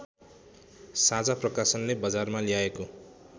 साझा प्रकाशनले बजारमा ल्याएको